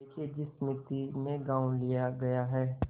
देखिए जिस मिती में गॉँव लिया गया है